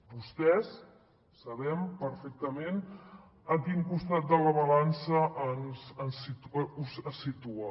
vostès sabem perfectament a quin costat de la balança es situen